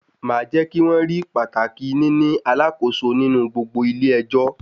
Màá jẹ́ kí wọ́n rí pàtàkì níní alakoso nínú gbogbo ilé ẹjọ́.